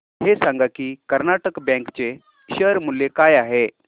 हे सांगा की कर्नाटक बँक चे शेअर मूल्य काय आहे